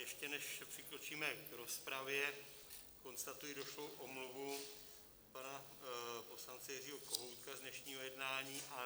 Ještě než přikročíme k rozpravě, konstatuji došlou omluvu pana poslance Jiřího Kohoutka z dnešního jednání.